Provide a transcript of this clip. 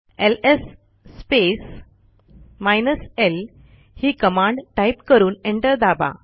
LS l ही command type करून enter दाबा